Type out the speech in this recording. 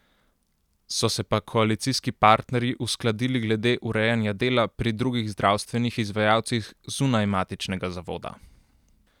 So se pa koalicijski partnerji uskladili glede urejanja dela pri drugih zdravstvenih izvajalcih zunaj matičnega zavoda.